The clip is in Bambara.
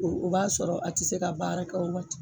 O o b'a sɔrɔ a ti se ka baara k'o la tu